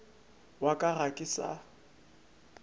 wa ka ga ke sa